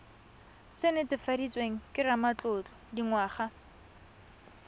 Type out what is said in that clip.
se netefaditsweng ke ramatlotlo dingwaga